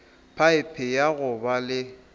phaephe ya go ba le